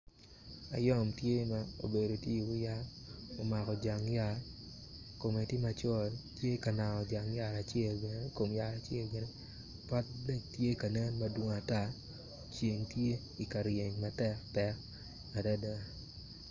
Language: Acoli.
Ayom tye ma obedo tye iwi yat ma omako jang yat kome tye macol tye ka nango jang yat acel bene ikom yat acel bene ote bene tye kanen madwong ata ceng tye ikaryeny matek tek adada